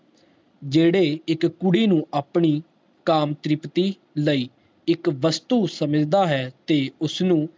ਜਿਹੜੇ ਇਕ ਕੁੜੀ ਨੂੰ ਆਪਣੀ ਕਾਮਤ੍ਰਿਪਤੀ ਲਈ ਇਕ ਵਸਤੂ ਸਮਝਦਾ ਹੈ ਤੇ ਉਸਨੂੰ